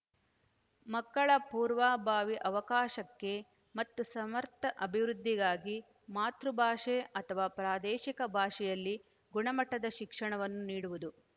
ಮಕ್ಕಳ ಪೂರ್ವಾಬಾವಿ ಅವಕಾಶಕ್ಕೆ ಮತ್ತು ಸಮರ್ಥ ಅಭಿವೃದ್ಧಿಗಾಗಿ ಮಾತೃ ಭಾಷೆ ಅಥವಾ ಪ್ರಾದೇಶಿಕ ಭಾಷೆಯಲ್ಲಿ ಗುಣಮಟ್ಟದ ಶಿಕ್ಷಣವನ್ನು ನೀಡುವುದು